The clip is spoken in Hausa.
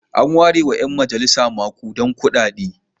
An warewa ƴan majalisa maƙudan kuɗaɗe.